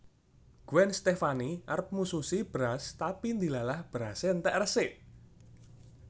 Gwen Stefani arep mususi beras tapi ndilalah berase entek resik